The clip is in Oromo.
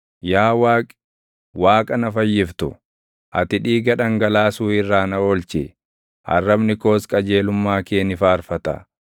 Yaa Waaqi, Waaqa na Fayyiftu, ati dhiiga dhangalaasuu irraa na oolchi; arrabni koos qajeelummaa kee ni faarfata.